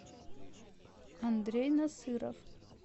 андрей насыров